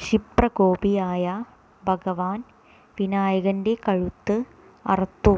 ക്ഷിപ്ര കോപിയായ ഭഗവാൻ വിനായകന്റെ കഴുത്ത് അറുത്തു